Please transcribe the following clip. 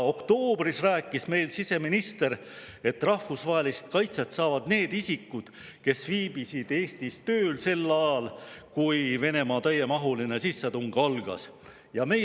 Oktoobris rääkis meile siseminister, et rahvusvahelise kaitse saavad need isikud, kes viibisid Eestis tööl sel ajal, kui Venemaa täiemahuline sissetung algas.